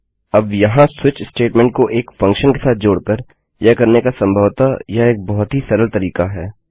अब वहाँ switch statement को एक फंक्शन के साथ जोड़ कर यह करने का संभवतः यह एक बहुत ही सरल तरीका है